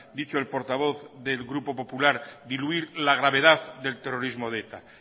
dicho el portavoz del grupo popular diluir la gravedad del terrorismo de eta